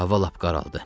Hava lap qaraldı.